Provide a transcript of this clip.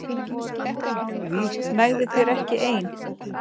Nægði þér ekki ein?